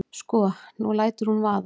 Sko. nú lætur hún vaða.